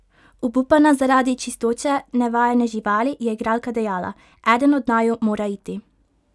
Obupana zaradi čistoče nevajene živali je igralka dejala: "Eden od naju mora iti.